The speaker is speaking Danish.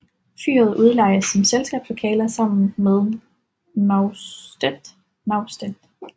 Fyret udlejes som selskabslokaler sammen med naustet